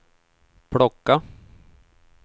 plocka